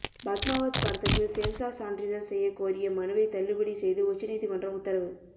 பத்மாவத் படத்துக்கு சென்சார் சான்றிதழ் செய்யக்கோரிய மனுவை தள்ளுபடி செய்து உச்சநீதிமன்றம் உத்தரவு